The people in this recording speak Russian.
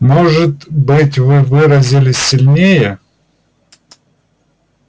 может быть вы выразились сильнее